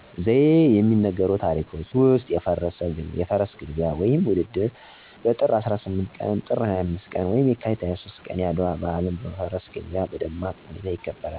ዘዬ የሚነገሩ ታሪኮች ዉስጥ የፈረስ ግልቢያ ወይም ውድድር በጥር 18ቀን፣ ጥር 25 ቀን ወይም የካቲት 23 ቀን የአድዋ በአልን በፈረስ ግልቢያ በደማቅ ሁኔታ ይከበራል።